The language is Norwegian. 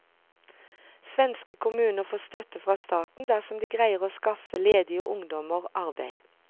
Svenske kommuner får støtte fra staten dersom de greier å skaffe ledige ungdommer arbeid.